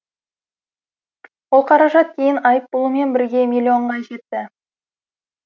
ол қаражат кейін айыппұлымен бірге миллионға жетті